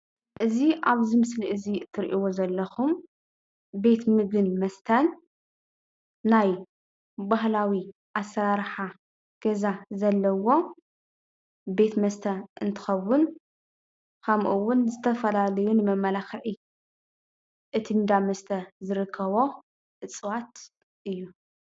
እዚ ኣብዚ ምስሊ እዚ እትሪእዎ ዘለኹም ቤት ምግብን መስተን ናይ ባህላዊ ኣሰራርሓ ገዛ ዘለዎ ቤት መስተ እንትኸውን ከምኡውን ንዝተፈላለዩ መመላኽዒ እቲ እንዳ መስተ ዝርከቦ እፅዋት እዩ፡፡